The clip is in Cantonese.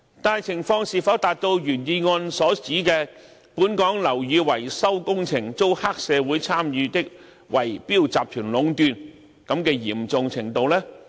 但情況是否達到原議案所指"本港樓宇維修工程遭黑社會參與的圍標集團壟斷"的嚴重程度呢？